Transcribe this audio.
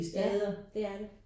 Ja det er det